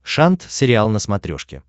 шант сериал на смотрешке